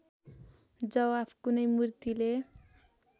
जवाफ कुनै मुर्तिले